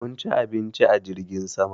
Mun ci abinci a jirgin sama.